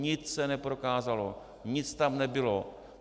Nic se neprokázalo, nic tam nebylo.